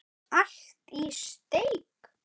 Allt í steik.